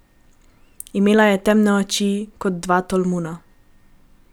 Imela je temne oči, kot dva tolmuna.